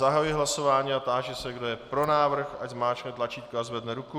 Zahajuji hlasování a táži se, kdo je pro návrh, ať zmáčkne tlačítko a zvedne ruku?